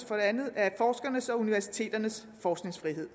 for det andet af forskernes og universiteternes forskningsfrihed